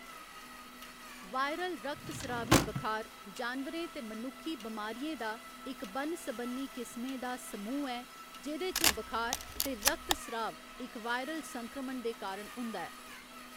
Viral रक्तस्रावी बखार जानवरें ते मनुक्खी बमारियें दा इक बन्न सबन्नी किस्में दा समूह् ऐ जेह्‌‌‌दे च बखार ते रक्तस्राव इक वायरल संक्रमण दे कारण होंदा ऐ।